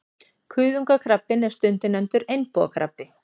Kuðungakrabbinn er stundum nefndur einbúakrabbi.